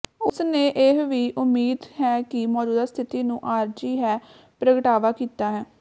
ਉਸ ਨੇ ਇਹ ਵੀ ਉਮੀਦ ਹੈ ਕਿ ਮੌਜੂਦਾ ਸਥਿਤੀ ਨੂੰ ਆਰਜ਼ੀ ਹੈ ਪ੍ਰਗਟਾਵਾ ਕੀਤਾ ਹੈ